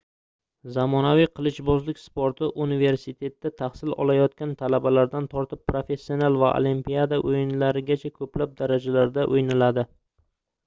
zamonaviy qilichbozlik sporti universitetda tahsil olayotgan talabalardan tortib professional va olimpiada oʻyinlarigacha koʻplab darajalarda oʻynaladi